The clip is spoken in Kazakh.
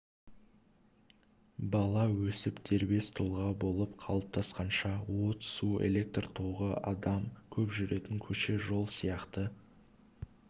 бала өсіп дербес тұлға болып қалыптасқанша от су электр тогы адам көп жүретін көше жол сияқты